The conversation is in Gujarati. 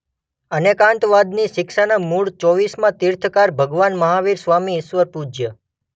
અનેકાંતવાદની શિક્ષાના મૂળ ચોવ્વીસમાં તીર્થંકર ભગવાનમહાવીર સ્વામી ઈસવીસન પૂર્વ